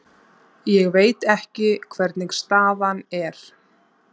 Ég veit ekki hvernig staðan er.